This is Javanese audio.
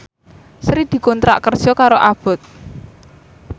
Sri dikontrak kerja karo Abboth